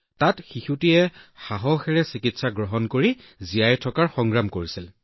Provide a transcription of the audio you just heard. তাত শিশুটোৱে চিকিৎসাৰ সময়ত সাহসেৰে যুঁজিছিল